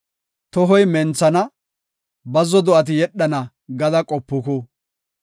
‘Tohoy menthana, bazzo do7ati yedhana’ gada qopuku.